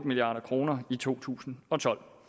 milliard kroner i to tusind og tolv